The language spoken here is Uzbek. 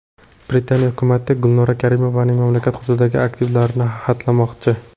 Britaniya hukumati Gulnora Karimovaning mamlakat hududidagi aktivlarini xatlamoqchi.